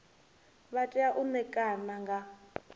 vha tea u ṋekana nga